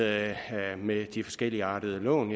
at med de forskelligartede lån